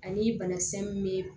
Ani banakisɛ min bɛ